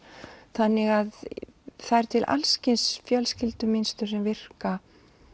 þannig að það eru til alls kyns fjölskyldumynstur sem virka